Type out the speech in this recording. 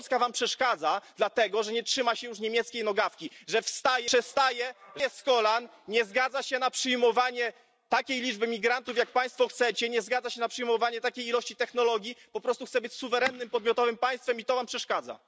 Polska wam przeszkadza dlatego, że nie trzyma się już niemieckiej nogawki, że wstaje z kolan, nie zgadza się na przyjmowanie takiej liczby migrantów, jak Państwo chcecie, nie zgadza się na przyjmowanie takich ilości technologii, po prostu chce być suwerennym, podmiotowym państwem i to wam przeszkadza.